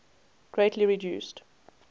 greatly reduced